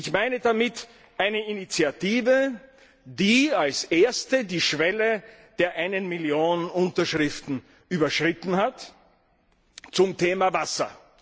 Ich meine damit eine Initiative, die als erste die Schwelle der einen Million Unterschriften überschritten hat, zum Thema Wasser.